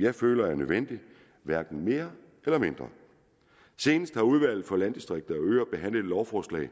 jeg føler er nødvendig hverken mere eller mindre senest har udvalget for landdistrikter og øer behandlet et lovforslag